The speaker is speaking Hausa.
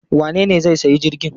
Wanene zai sayi jirgin?